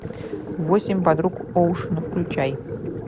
восемь подруг оушена включай